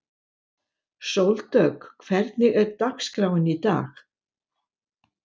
Sóldögg, hvernig er dagskráin í dag?